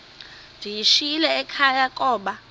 ndiyishiyile ekhaya koba